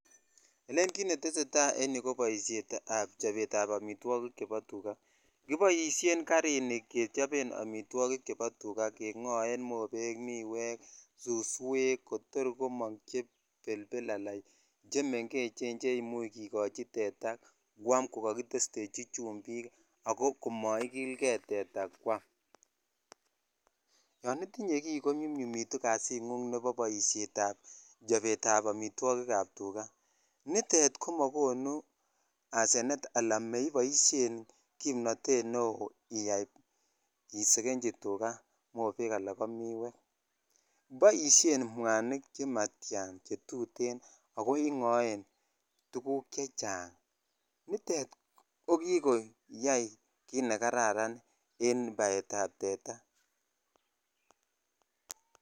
Kit netesetai en irou ko baishet ab chapet ab amitwogik chebo tuga, kibaishen garinib kechoben amitagik chebo tuga kengoe mobek ,miwek, suswek Kotor komang chebelbeln chemengechen cheimuche kegoi teta kwam kokakitesteji chumbik akokamaigerkokil gei teta kwam yanitinye ki konyumnyumikitun kasit Nebo baishet ab chapet ab amitwogik chebo tuga nitet komagonu Arsene nekibaishen kimnatet neon isekenji tuga mobek Alan KO miwek anan ko mwanik chimatian akingaen tuguk chechang nitet jokikoyai kit nekararan en baet ab teta